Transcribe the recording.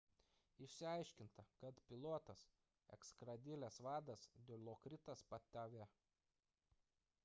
išsiaiškinta kad pilotas – eskadrilės vadas dilokritas pattavee